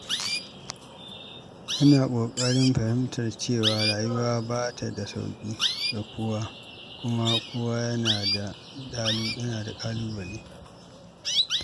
Ina ƙoƙarin fahimtar cewa rayuwa ba ta da sauƙi ga kowa, kuma kowa yana da ƙalubale.